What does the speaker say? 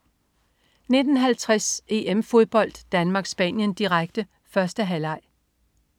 19.50 EM-Fodbold: Danmark-Spanien, direkte. 1. halvleg